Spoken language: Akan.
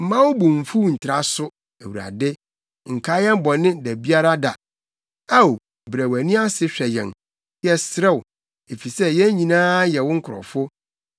Mma wo bo mfuw ntra so, Awurade; nkae yɛn bɔne da biara da. Ao, brɛ wʼani ase hwɛ yɛn, yɛsrɛ wo, efisɛ yɛn nyinaa yɛ wo nkurɔfo.